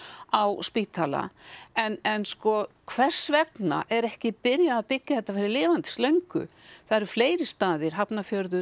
á spítala en en sko hvers vegna er ekki byrjað að byggja þetta fyrir lifandis löngu það eru fleiri staðir Hafnarfjörður